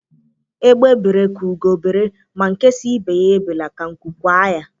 Égbé bere ka ugo bere, ma nke si ibe ya ebela ka nkụ kwaa ya.